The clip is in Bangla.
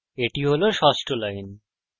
এটি হল ষষ্ঠ লাইন